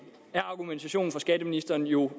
giver argumentationen fra skatteministeren jo